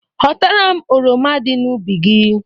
Ghọtara m oroma dị n'ubi gi